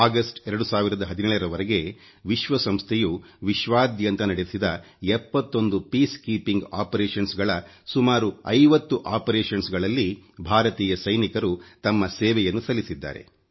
August 2017ರ ವರೆಗೆ ವಿಶ್ವಸಂಸ್ಥೆಯ ವಿಶ್ವಾದ್ಯಂತ ನಡೆಸಿದ 71 ವಿಶ್ವಸಂಸ್ಥೆಯ ಶಾಂತಿ ಪ್ರಕ್ರಿಯೆ ಸುಮಾರು 50 ಪ್ರಕ್ರಿಯೆಗಳಲ್ಲಿ ಭಾರತೀಯ ಸೈನಿಕರು ತಮ್ಮ ಸೇವೆಯನ್ನು ಸಲ್ಲಿಸಿದ್ದಾರೆ